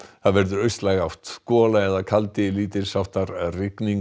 það verður austlæg átt gola eða kaldi lítils háttar rigning